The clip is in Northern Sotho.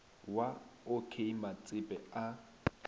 wa o k matsepe a